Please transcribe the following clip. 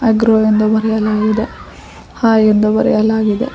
Agro ಎಂದು ಬರೆಯಲಾಗಿದೆ hi ಎಂದು ಬರೆಯಲಾಗಿದೆ.